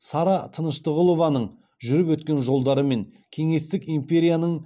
сара тыныштығұлованың жүріп өткен жолдары мен кеңестік империяның